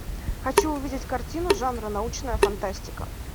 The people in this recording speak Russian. хочу увидеть картину жанра научная фантастика